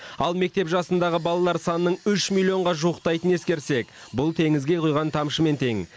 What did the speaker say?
ал мектеп жасындағы балалар санының үш миллионға жуықтайтынын ескерсек бұл теңізге құйған тамшымен тең